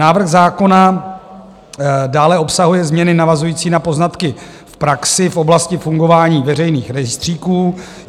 Návrh zákona dále obsahuje změny navazující na poznatky v praxi v oblasti fungování veřejných rejstříků.